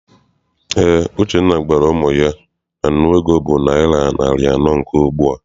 Eé, Uchenna gwara ụmụ ya na nnu ego bụ naịra narị anọ nke ugbua.